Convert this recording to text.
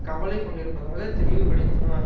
கவலை கொண்டிருப்பதாக தெளிவுபடுத்தினார்